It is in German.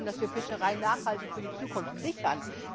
Es geht darum, dass wir Fischerei nachhaltig für die Zukunft sichern!